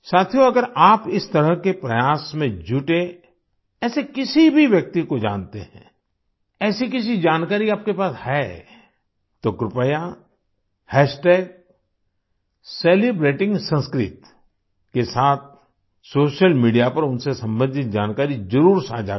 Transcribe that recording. साथियो अगर आप इस तरह के प्रयास में जुटे ऐसे किसी भी व्यक्ति को जानते हैं ऐसी किसी जानकारी आपके पास है तो कृपया सेलिब्रेटिंगसंस्कृत के साथ सोशल मीडिया पर उनसे संबंधित जानकारी जरुर साझा करें